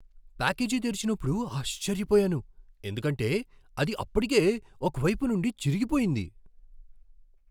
Package తెరిచినప్పుడు ఆశ్చర్యపోయాను, ఎందుకంటే అది అప్పటికే ఒక వైపు నుండి చిరిగిపోయింది!